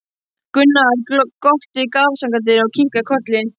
Gunnar glotti afsakandi og kinkaði kolli.